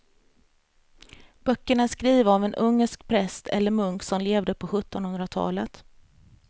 Böckerna är skrivna av en ungersk präst eller munk som levde på sjuttonhundratalet.